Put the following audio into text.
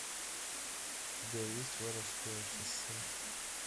у тебя есть воровское шоссе